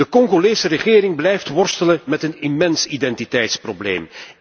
De Congolese regering blijft worstelen met een immens identiteitsprobleem.